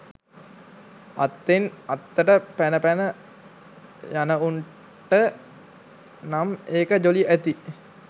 අත්තෙන් අත්තට පැන පැන යනවුන්ට නම් ඒක ජොලි ඇති